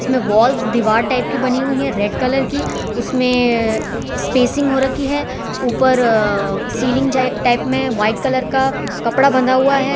इसमें वॉल दीवार टाइप की बनी हुई है रेड कलर की उसमें स्पेसिंग हो रखी है ऊपर अह सीलिंग जा टाइप में व्हाइट कलर का कपड़ा बंधा हुआ है।